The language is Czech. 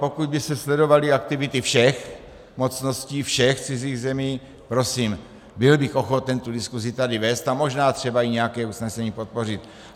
Pokud by se sledovaly aktivity všech mocností, všech cizích zemí, prosím, byl bych ochoten tu diskusi tady vést a možná třeba i nějaké usnesení podpořit.